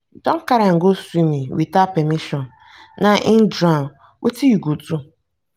you don carry am go swimming without permission now he drown wetin you go do?